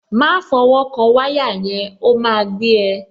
Má fọwọ́ kan wáyà yẹn, ó máa gbé ẹ.